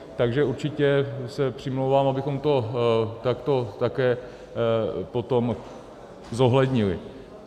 Takže určitě se přimlouvám, abychom to takto také potom zohlednili.